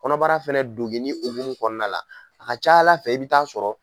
Kɔnɔbara fɛnɛ dongini hokumun kɔnɔna la, a ka ca ala fɛ i bɛ taa sɔrɔ.